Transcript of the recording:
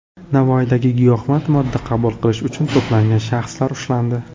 Navoiyda giyohvand modda qabul qilish uchun to‘plangan shaxslar ushlandi.